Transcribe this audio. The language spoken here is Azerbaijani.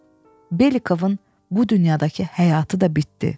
Belikovun bu dünyadakı həyatı da bitdi.